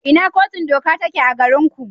Ina Kotun Doka take a garinku?